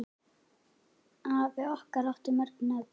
Afi okkar átti mörg nöfn.